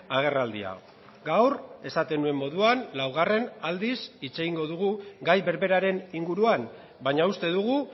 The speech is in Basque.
agerraldia gaur esaten nuen moduan laugarren aldiz hitz egingo dugu gai berberaren inguruan baina uste dugu